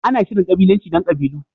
Ana Shirin kabilanci don kabilu.